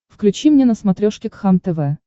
включи мне на смотрешке кхлм тв